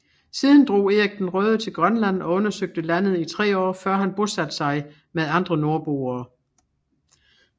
Siden drog Erik den Røde til Grønland og undersøgte landet i tre år før han bosatte sig med andre nordboere